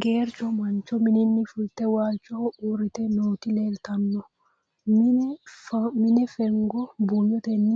Geericho mancho mininni fulitte walichoho uuritte nootti leelittanno. Mine fengo buuyottenni